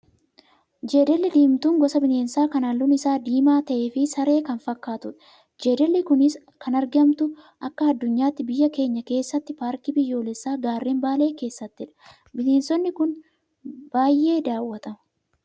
Jeedalli diimtuun gosa bineensaa kan halluun isaa diimaa ta'ee fi saree kan fakkaattudha. Jeedalli kunis kan argamtu akka addunyaatti biyya keenya keessaa paarkii biyyoolessaa gaarren baalee keessattidha. Bineensi kun baay'ee daawwatama.